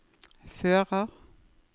fører